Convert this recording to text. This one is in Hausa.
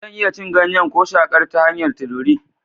Zan iya cin ganyen ko shakar ta hanyar tururi?